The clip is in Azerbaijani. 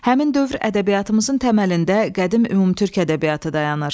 Həmin dövr ədəbiyyatımızın təməlində qədim ümumtürk ədəbiyyatı dayanır.